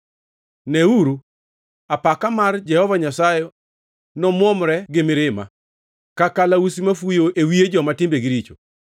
Neuru, apaka mar Jehova Nyasaye nomwomre gi mirima, ka kalausi mafuyo e wiye joma timbegi richo.